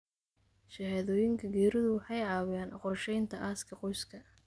Shahaadooyinka geeridu waxay caawiyaan qorsheynta aaska qoyska.